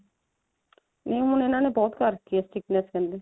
ਨਹੀ ਹੁਣ ਇਹਨਾਂ ਨੇ ਬਹੁਤ ਕਰਤੀ ਆ strictness ਕਹਿੰਦੇ